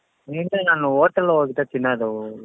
ಇಲ್ಲ ನಾನು hotel ಊಟ ತಿನ್ನದು.